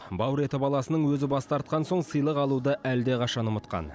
бауыр еті баласының өзі бас тартқан соң сыйлық алуды әлдеқашан ұмытқан